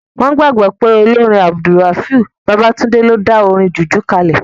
Wọ́n gbàgbọ́ pé olórin AbdulRafiu Babatunde ló dá orin jùjú kalẹ̀